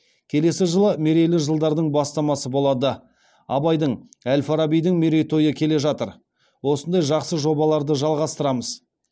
келесі жылы мерейлі жылдардың бастамасы болады абайдың әл фарабидің мерейтойы келе жатыр осындай жақсы жобаларды жалғастырамыз